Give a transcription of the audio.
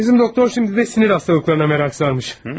Bizim doktor indi də sinir xəstəliklərinə maraq salmış.